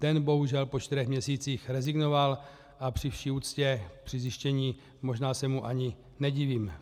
Ten bohužel po čtyřech měsících rezignoval a při vši úctě při zjištění - možná se mu ani nedivím.